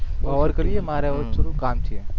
ઔર કરીએ મારે હવે થોડું કામ છે